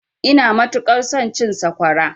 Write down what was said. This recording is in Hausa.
Ina matuƙar son cin sakwara.